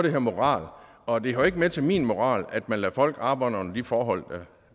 hedder moral og det hører ikke med til min moral at man lader folk arbejde under de forhold